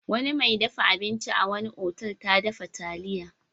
Wani mai dafa abinci a wani otal ta dafa taliya.